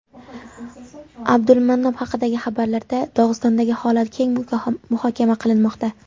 Abdulmanap haqidagi xabarlarda Dog‘istondagi holat keng muhokama qilinmoqda.